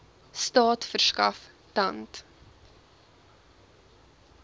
staat verskaf tand